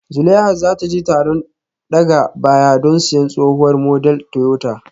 Zulaihat za ta je taron daga baya don siyan tsohuwar model Toyota